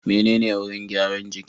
Menene wurin gyaran jiki?